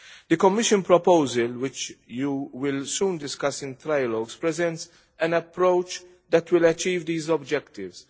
The Commission proposal, which you will soon discuss in trialogues, presents an approach that will achieve these objectives.